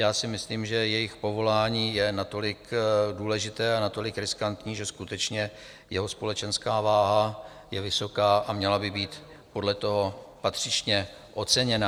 Já si myslím, že jejich povolání je natolik důležité a natolik riskantní, že skutečně jeho společenská váha je vysoká a měla by být podle toho patřičně oceněná.